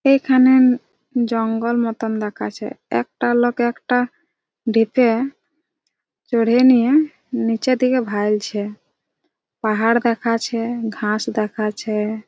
এখানে ম জঙ্গল মতো দেখাচ্ছে। একটা লোক একটা দিকে চোরহে নিয়ে নিচের দিকে ভালছে। পাহাড় দেখাচ্ছে ঘাস দেখাচ্ছে।